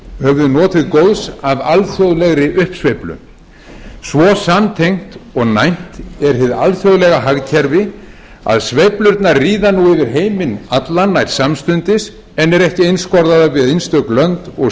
höfum við notið góðs af alþjóðlegri uppsveiflu svo samtengt og næmt er hið alþjóðlega hagkerfi að sveiflurnar ríða nú yfir heiminn allan nær samstundis en eru ekki einskorðaðar við einstök lönd og